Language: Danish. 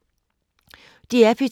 DR P2